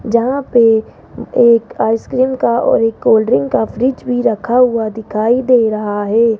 जहां पे एक आइसक्रीम का और एक कोल्ड ड्रिंक का फ्रिज भी रखा हुआ दिखाई दे रहा है।